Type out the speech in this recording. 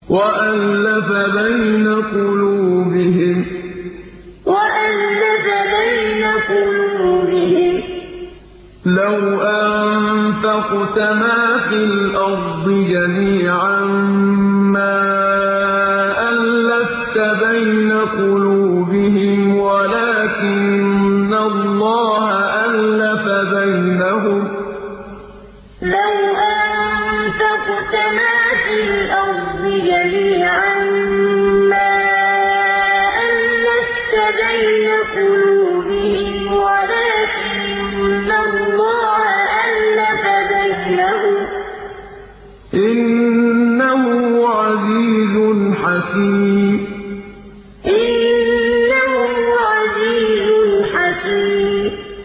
وَأَلَّفَ بَيْنَ قُلُوبِهِمْ ۚ لَوْ أَنفَقْتَ مَا فِي الْأَرْضِ جَمِيعًا مَّا أَلَّفْتَ بَيْنَ قُلُوبِهِمْ وَلَٰكِنَّ اللَّهَ أَلَّفَ بَيْنَهُمْ ۚ إِنَّهُ عَزِيزٌ حَكِيمٌ وَأَلَّفَ بَيْنَ قُلُوبِهِمْ ۚ لَوْ أَنفَقْتَ مَا فِي الْأَرْضِ جَمِيعًا مَّا أَلَّفْتَ بَيْنَ قُلُوبِهِمْ وَلَٰكِنَّ اللَّهَ أَلَّفَ بَيْنَهُمْ ۚ إِنَّهُ عَزِيزٌ حَكِيمٌ